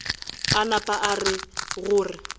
a napa a rera gore